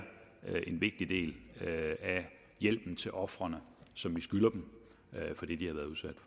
en vigtig del af hjælpen til ofrene som vi skylder dem